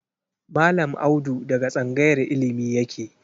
Mallam Audu daga tsangayar illimi yake.